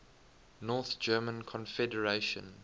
north german confederation